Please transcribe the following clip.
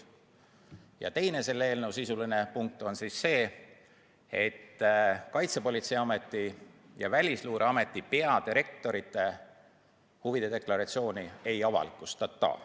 Ja teine selle eelnõu sisuline punkt on see, et Kaitsepolitseiameti ja Välisluureameti peadirektori huvide deklaratsiooni ei avalikustata.